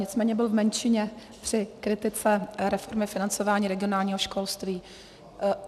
Nicméně byl v menšině při kritice reformy financování regionálního školství.